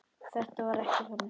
Þetta var ekki þannig.